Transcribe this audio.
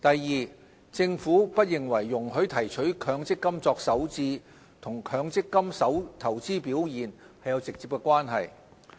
二政府不認為容許提取強積金作首置和強積金投資表現有直接關係。